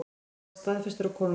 Hann var staðfestur af konungi.